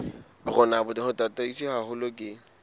rona bo tataiswe haholo ke